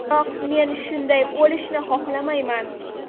Biroq men shunday o‘lishni xohlamayman.